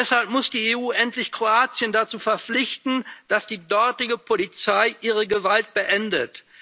Deshalb muss die EU endlich Kroatien dazu verpflichten, dass die dortige Polizei ihre Gewalt beendet.